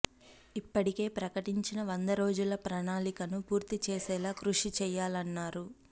ఇప్పటికే ప్రకటించిన వంద రోజుల ప్రణాళికను పూర్తి చేసేలా కృషి చేయాలన్నారు